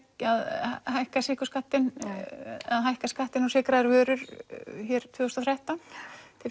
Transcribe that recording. hækka sykurskattinn eða hækka skattinn á sykraðar vörur hér tvö þúsund og þrettán til